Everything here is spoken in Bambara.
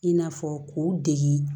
I n'a fɔ k'u dege